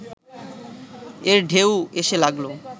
এর ঢেউ এসে লাগল